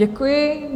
Děkuji.